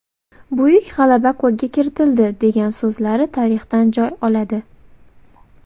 Buyuk g‘alaba qo‘lga kiritildi” degan so‘zlari tarixdan joy oladi.